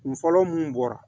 Kun fɔlɔ mun bɔra